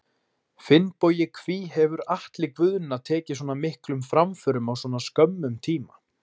Finnbogi Hví hefur Atli Guðna tekið svona miklum framförum á svona skömmum tíma?